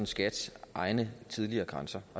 skats egne tidligere grænser